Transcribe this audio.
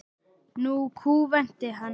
Nú kúventi hann.